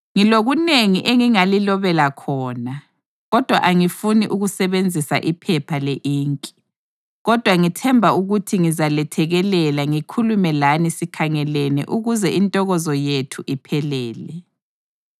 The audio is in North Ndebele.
Ngilokunengi engingalilobela khona, kodwa angifuni ukusebenzisa iphepha le-inki. Kodwa ngithemba ukuthi ngizalethekelela ngikhulume lani sikhangelene ukuze intokozo yethu iphelele.